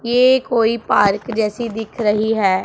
ये कोई पार्क जैसी दिख रही है।